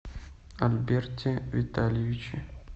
альберте витальевиче